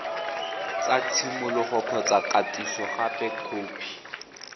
sa tshimologo kgotsa kgatisogape khopi